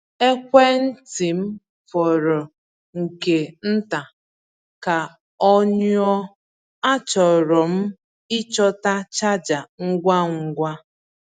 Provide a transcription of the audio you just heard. Ekwentị m fọrọ nke nta ka ọ nyụọ; achọrọ m ịchọta chaja ngwa ngwa.